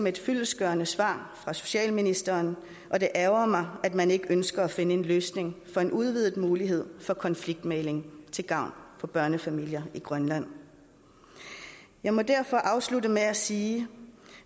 et fyldestgørende svar fra socialministeren og det ærgrer mig at man ikke ønsker at finde en løsning for en udvidet mulighed for konfliktmægling til gavn for børnefamilier i grønland jeg må derfor afslutte med at sige